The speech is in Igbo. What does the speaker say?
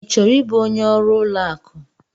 I chọrọ ịbụ onye ọrụ ụlọ akụ?